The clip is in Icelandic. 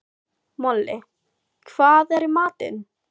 Moli, hvað er í matinn?